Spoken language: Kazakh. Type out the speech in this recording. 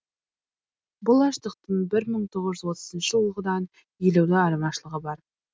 бұл аштықтың бір мың тоғыз жүз отызыншы жылғыдан елеулі айырмашылығы бар